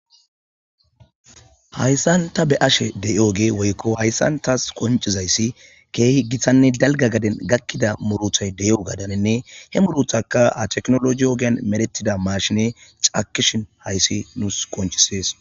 Hayssan ta be'ashe de'iyogey woyko tas qonccizayssi kehi gittanne dalgga gaden gakkida murutta de'iyo gadenhinne he muruttakka ha technologey ogen medhetida mashiney cakkishin hayssi nus qonccisses.